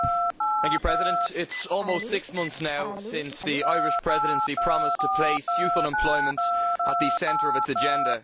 Mr President, it is almost six months now since the Irish Presidency promised to place youth unemployment at the centre of its agenda.